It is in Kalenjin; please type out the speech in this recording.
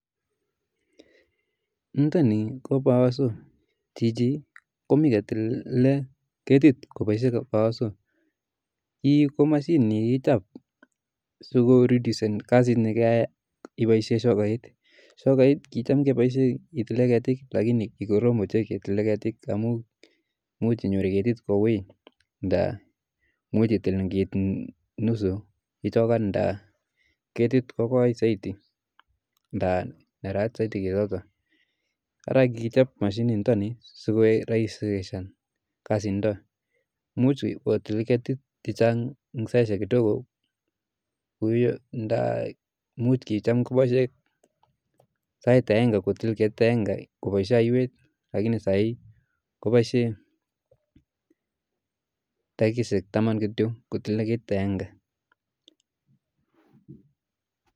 Niitoni ko power saw, chiichi komi kotile ketit koboisie powersaw nii ko mashinit ap sikoredusen kasiit nekeyae iboisie shokait , shokait kicham keboisie ketile ketiik l lakini kikorom oche ketile ketik amu muuch inyoor ketik kouui nda muuch itil ngiit nusu ichookan nda ketik kokooi zaidi nda neraat zaidi keetotok. Ara kikichob mashinit nitoni sikoek raisishan kasiit nitook muuch otil keetik chechang' ing' saisiek kidogo nda muuch koboisie ketik aenge kotil ketit agenge koboisie aiywet lakini saa hii koboisie dakikaishek taman kityo kotile ketit agenge